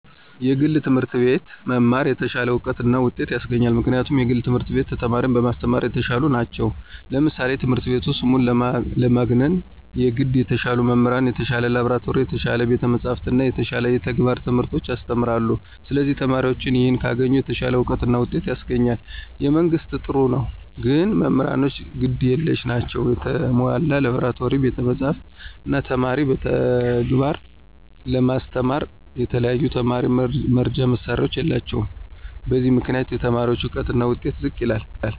የግል ትምህርት አቤት መማር የተሻለ እውቀት እና ውጤት ያሰገኛል ምክንያቱም የግል ትምህርት ቤት ተማሪን በማሰተማራ የተሻሉ ነቸው ለምሳሌ ትምህረት ቤቱ ስሙን ለማግነነ የገድ የተሻሉ መምህራን፣ የተሻለ ላብራቶሪ፣ የተሻለ ቤተ መፅሐፍት እና የተሻለ የተግባረ ትምህርቶች ያሰተምራለ ስለዚህ ተማሪዎችም ይህን ካገኙ የተሻለ አውቀት እና ውጤት ያስገኛል። የመንግስት ጥሩ ነው ግን መምህራኖቹ ግድ የለሽ ናቸው የተሞላ ላብራቶሪ፣ ቤተ መፅሐፍ፣ እነ ተማሪን በተግባር ለማስተማራ የተለያዩ የተማሪ መርጃ መሳሪያዎች የላቸውም በዚህ ምክንያት የተማሪዎች እውቀትና ውጤት ዝቅ ይላል።